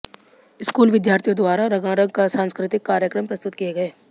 school विद्यार्थियों द्वारा रंगारंग सांस्कृतिक कार्यक्रम प्रस्तुत किए गए